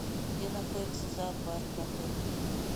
где находится зоопарк в отеле